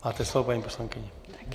Máte slovo, paní poslankyně.